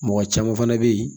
Mɔgɔ caman fana bɛ yen